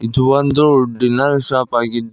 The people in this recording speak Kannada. ಇದು ಒಂದು ಡಿನ್ನರ್ ಶಾಪ್ ಆಗಿದ್ದು--